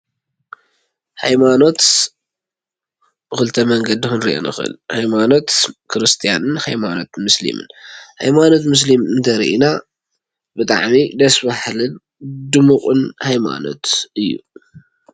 ሃይማኖት በክልተ መንገዲ ክንርኦ ንክእል። ሃይማኖት ክርስትናን መስሊሙን እዩ። ሃይማኖት መስሊም እንተሪኢና ብጣዕሚ ደስ ባህልን ድሙቁን እዩ።